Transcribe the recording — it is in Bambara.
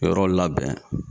Yɔrɔ labɛn